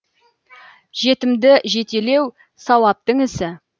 жетімді жетелеу сауаптың ісі